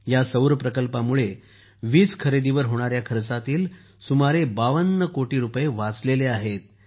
या सौर प्रकल्पामूळे वीज खरेदीवर होणाऱ्या खर्चातील सुमारे 52 कोटी रुपये वाचले आहेत